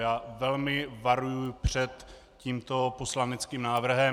Já velmi varuji před tímto poslaneckým návrhem.